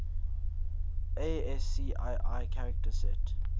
ascii character set